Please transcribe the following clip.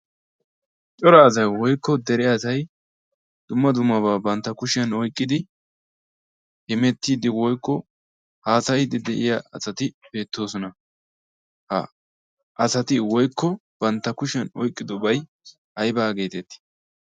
cora asai woikko dere asai dumma dummabaa bantta kushiyan oiqqidi himettiiddi woikko haasayiddi de7iya asati beettoosona. ha asati woikko bantta kushiyan oiqqidobai aibaa geeteetii?